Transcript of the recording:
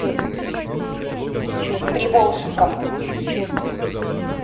приволжском